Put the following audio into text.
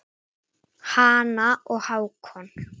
Hanna og Hákon.